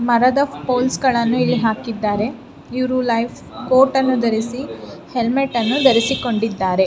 ಮರದ ಫೋಲ್ಸ್ ಗಳನ್ನೂ ಇಲ್ಲಿ ಹಾಕಿದ್ದಾರೆ ಇವರು ಲೈಫ್ ಕೋಟ್ ಅನ್ನು ಧರಿಸಿ ಹೆಲ್ಮೆಟ್ ಅನ್ನು ಧರಿಸಿಕೊಂಡಿದ್ದಾರೆ.